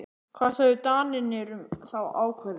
Hvað sögðu Danirnir um þá ákvörðun?